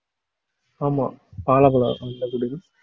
ஆமா அந்த குடில்